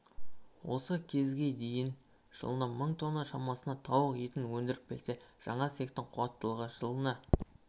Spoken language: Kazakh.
осы кезге дейін жылына мың тонна шамасында тауық етін өндіріп келсе жаңа цехтың қуаттылығы жылына